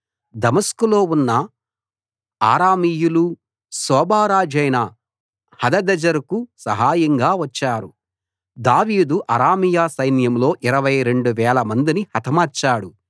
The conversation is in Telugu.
దమస్కులో ఉన్న అరామీయులు సోబా రాజైన హదదెజెరుకు సహాయంగా వచ్చారు దావీదు అరామీయ సైన్యంలో ఇరవై రెండు వేలమందిని హతమార్చాడు